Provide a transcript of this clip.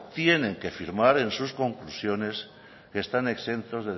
tienen que firmar en sus conclusiones que están exentos